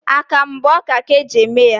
Akamụ bụ ọka ka e ji eme ya